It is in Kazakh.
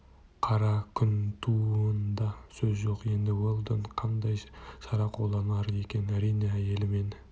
қара күн тууында сөз жоқ енді уэлдон қандай шара қолданар екен әрине әйелі мен